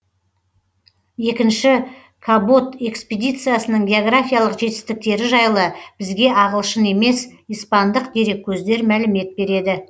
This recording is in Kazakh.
екінші кабот экспедициясының географиялық жетістіктері жайлы бізге ағылшын емес испандық дереккөздер мәлімет береді